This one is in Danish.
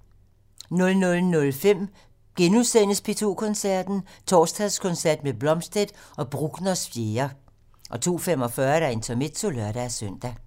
00:05: P2 Koncerten - Torsdagskoncert med Blomstedt og Bruckners 4. * 02:45: Intermezzo (lør-søn)